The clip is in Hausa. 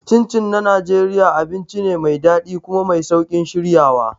Chin Chin na Najeriya abinci ne mai daɗi kuma mai sauƙin shiryawa.